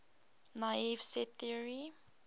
naive set theory